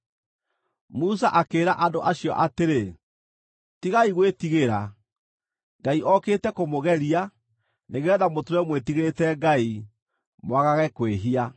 Musa akĩĩra andũ acio atĩrĩ, “Tigai gwĩtigĩra. Ngai okĩte kũmũgeria, nĩgeetha mũtũũre mwĩtigĩrĩte Ngai, mwagage kwĩhia.”